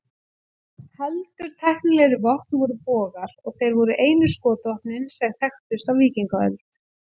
Heldur tæknilegri vopn voru bogar, og þeir voru einu skotvopnin sem þekktust á víkingaöld.